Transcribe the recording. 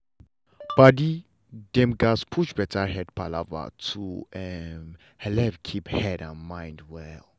padi dem gatz push better head palava to um helep keep head and mind well.